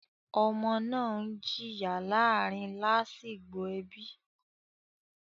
ọmọ máa ń jìyà láàrin làásìgbò ẹbí.